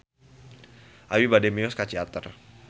Abi bade mios ka Ciater